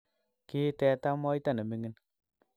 kii teta moita ne mining'.